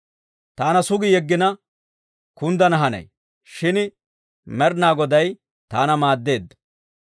Taana sugi yeggina, kunddana hanay; shin Med'inaa Goday taana maaddeedda.